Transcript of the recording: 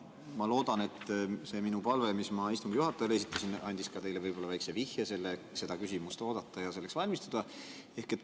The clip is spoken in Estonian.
Ma loodan, et see minu palve, mis ma istungi juhatajale esitasin, andis ka teile väikese vihje seda küsimust oodata ja selleks valmistuda.